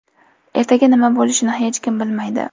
Ertaga nima bo‘lishini hech kim bilmaydi.